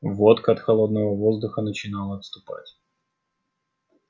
водка от холодного воздуха начинала отступать